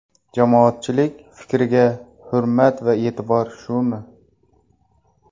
Jamoatchilik fikriga hurmat va e’tibor shumi?